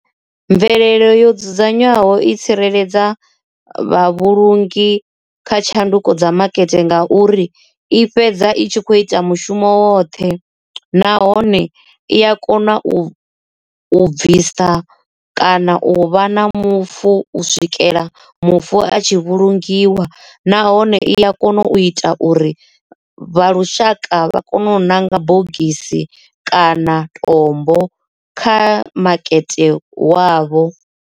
Mvelele yo dzudzanywaho i tsireledza vhavhulungi kha tshanduko dza makete ngauri i fhedza i tshi kho ita mushumo woṱhe, nahone i a kona u u bvisa kana u vha na mufu u swikela mufu a tshi vhulungiwa nahone iya kona u ita uri vha lushaka vha kone u ṋanga bogisi kana tombo kha makete wavho.